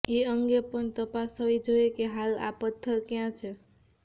એ અંગે પણ તપાસ થવી જોઈએ કે હાલ આ પથ્થર કયા છે